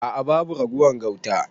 A'a babu ragowar gauta.